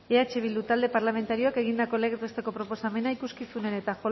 eh bildu talde parlamentarioak egindako legez besteko proposamena ikuskizunen eta